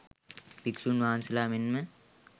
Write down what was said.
භික්‍ෂූන් වහන්සේලා මෙන්ම